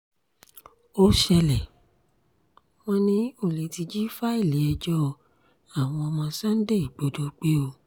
ó ṣẹlẹ̀ wọn ní olè ti jí fáìlì ẹjọ́ àwọn ọmọ sunday igbodò gbé o